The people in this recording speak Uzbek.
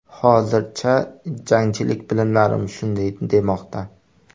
Hozircha, jangchilik bilimlarim shunday demoqda”.